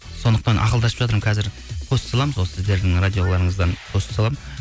сондықтан ақылдасып жатырмын қазір пост саламын сол сіздердің радиоларыңыздан пост саламын